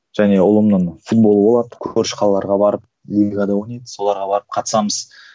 және ұлымның футболы болады көрші қалаларға барып лигада ойнайды соларға барып қатысамыз